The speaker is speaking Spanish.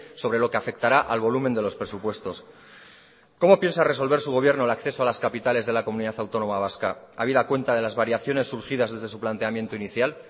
sobre lo que afectará al volumen de los presupuestos cómo piensa resolver su gobierno el acceso a las capitales de la comunidad autónoma vasca habida cuenta de las variaciones surgidas desde su planteamiento inicial